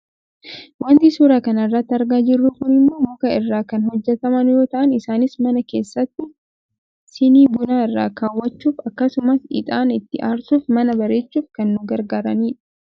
Wanti suuraa kana irratti argaa jirru kun immoo, muka irraa kan hojjetaman yoo ta'an isaanis mana keessatti shinii bunaa irra kaawwachuuf akkasumas ixaana itti aarsuufi mana bareechuuf kan nu gargaaranidha.